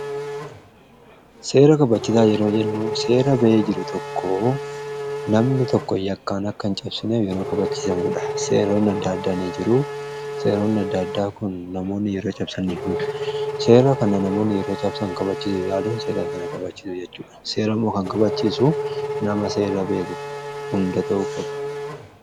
Seera kabachisaa yeroo jennuu seera ba'ee jiru tokko namni tokko yakkaan akkan cabsineef yeroo kabachiisamuudha. seeroonni adda addaanii jiru . Seeroonni adda addaa kun namoonni yeroo cabsaniif seera kana namoonni yeroo cabsan kabachiisuu yaaluun seera kana kabachisuu jechuudha . seeramoo kan kabachiisu nama seera beeku hunda ta'u qaba.